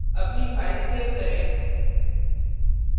अपनी file save करें